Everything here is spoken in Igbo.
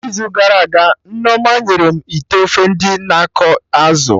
n'izu gara aga, Nneoma nyere m ite ofe ndị na akọ azụ